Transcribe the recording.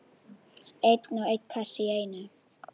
Einn og einn kassa í einu.